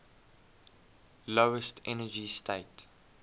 lowest energy state